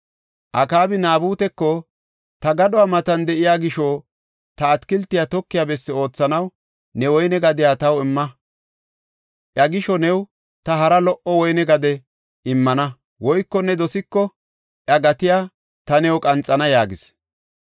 Akaabi Naabuteko, “Ta gadhuwa matan de7iya gisho, ta atakilte tokiya bessi oothanaw ne woyne gadiya taw imma. Iya gisho new ta hara lo77o woyne gade immana; woyko ne dosiko iya gatiya ta new qanxana” yaagis.